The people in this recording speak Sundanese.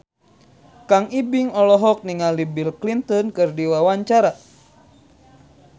Kang Ibing olohok ningali Bill Clinton keur diwawancara